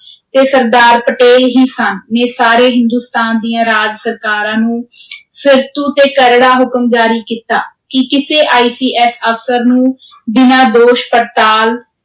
ਤੇ ਸਰਦਾਰ ਪਟੇਲ ਹੀ ਸਨ, ਨੇ ਸਾਰੇ ਹਿੰਦੁਸਤਾਨ ਦੀਆਂ ਰਾਜ ਸਰਕਾਰਾਂ ਨੂੰ ਫ਼ਿਰਤੂ ਤੇ ਕਰੜਾ ਹੁਕਮ ਜਾਰੀ ਕੀਤਾ ਕਿ ਕਿਸੇ ICS ਅਫ਼ਸਰ ਨੂੰ ਬਿਨਾਂ ਦੋਸ਼ ਪੜਤਾਲ